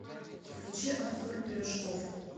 включи артур пирожков